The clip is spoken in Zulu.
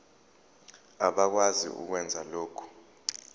abakwazi ukwenza lokhu